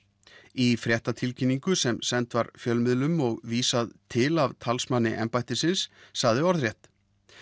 í fréttatilkynningu sem send var fjölmiðlum og vísað til af talsmanni embættisins sagði orðrétt